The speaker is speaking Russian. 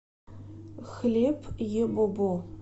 хлеб ебобо